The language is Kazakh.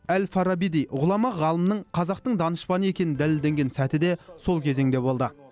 әл фарабидей ғұлама ғалымның қазақтың данышпаны екені дәлелденген сәті де сол кезеңде болды